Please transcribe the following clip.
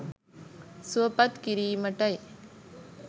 සුවපත් කිරීමටයි.